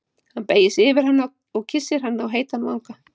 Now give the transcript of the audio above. Hann beygir sig yfir hana og kyssir hana á heitan vanga.